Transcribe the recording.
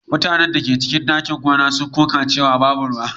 Mutanen da ke cikin ɗakin kwana sun koka cewa babu ruwa.